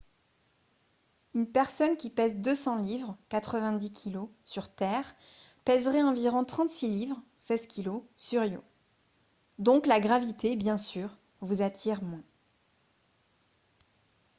une personne qui pèse 200 livres 90kg sur terre pèserait environ 36 livres 16kg sur io. donc la gravité bien sûr vous attire moins